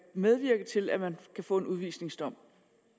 medvirke til at man får en udvisningsdom